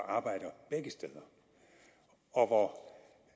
arbejder begge steder og hvor